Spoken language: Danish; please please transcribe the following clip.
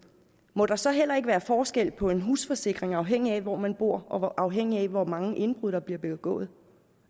må der så heller ikke være forskel på en husforsikring afhængigt af hvor man bor og afhængigt af hvor mange indbrud der bliver begået